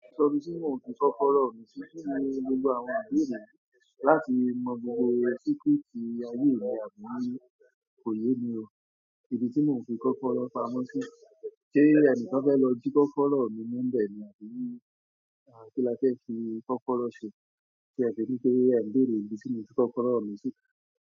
Sọ ibí tí mò ń fi kọ́kọ̀rọ̀ mi sí, kinni gbogbo àwọn ìbéèrè láti mọ gbogbo secret ayé mi àbí kóyè mi o. Ibí tí mò ń fi kọ́fọ́ọ̀rọ̀ pamọ́ sí, ṣé ẹni tí kan fẹ́ lọ jí kọ́kọ̀rọ̀ mi mu nbẹ̀ ni àbí kí la fẹ́ fi kọ́kọ̀rọ̀ ṣe? Ti e se ni pé eun beerè ibi tí mò ń fi kọ́kọ̀rọ̀ mi sí?